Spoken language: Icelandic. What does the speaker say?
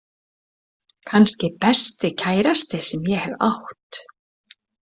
Kannski besti kærasti sem ég hef átt.